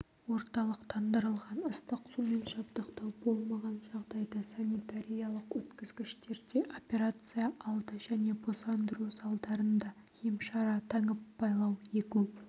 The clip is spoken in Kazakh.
орталықтандырылған ыстық сумен жабдықтау болмаған жағдайда санитариялық өткізгіштерде операция алды және босандыру залдарында емшара таңып-байлау егу